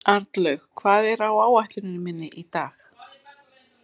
Arnlaug, hvað er á áætluninni minni í dag?